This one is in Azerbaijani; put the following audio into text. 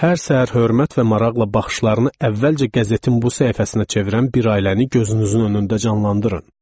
Hər səhər hörmət və maraqla baxışlarını əvvəlcə qəzetin bu səhifəsinə çevirən bir ailəni gözünüzün önündə canlandırın.